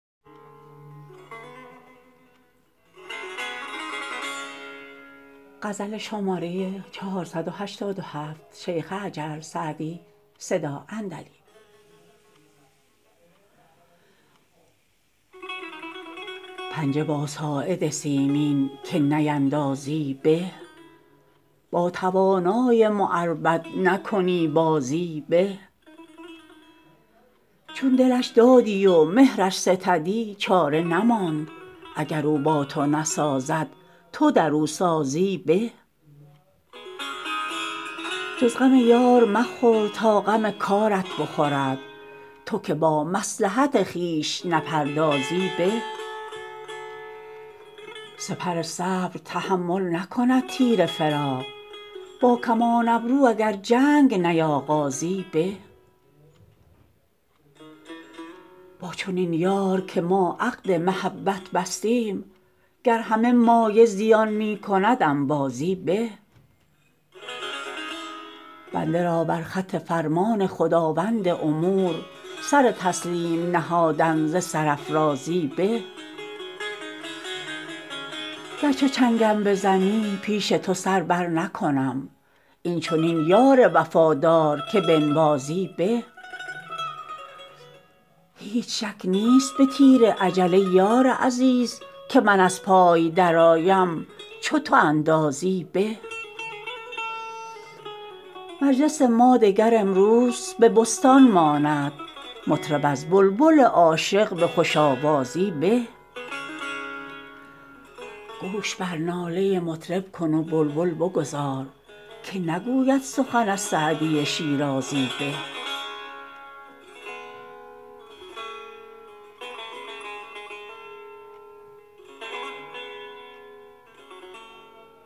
پنجه با ساعد سیمین که نیندازی به با توانای معربد نکنی بازی به چون دلش دادی و مهرش ستدی چاره نماند اگر او با تو نسازد تو در او سازی به جز غم یار مخور تا غم کارت بخورد تو که با مصلحت خویش نپردازی به سپر صبر تحمل نکند تیر فراق با کمان ابرو اگر جنگ نیاغازی به با چنین یار که ما عقد محبت بستیم گر همه مایه زیان می کند انبازی به بنده را بر خط فرمان خداوند امور سر تسلیم نهادن ز سرافرازی به گر چو چنگم بزنی پیش تو سر برنکنم این چنین یار وفادار که بنوازی به هیچ شک نیست به تیر اجل ای یار عزیز که من از پای درآیم چو تو اندازی به مجلس ما دگر امروز به بستان ماند مطرب از بلبل عاشق به خوش آوازی به گوش بر ناله مطرب کن و بلبل بگذار که نگوید سخن از سعدی شیرازی به